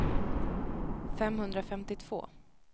femhundrafemtiotvå